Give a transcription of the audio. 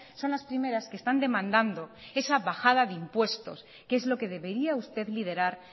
son las primeras que están demandando esa bajada de impuestos que es lo que debería usted liderar